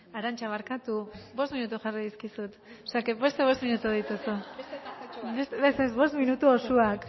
jarri arantxa barkatu bost minutu jarri dizkizut o sea que beste bost minutu dituzu bost minutu osoak